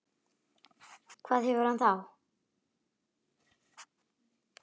hvað hefur hann á þá?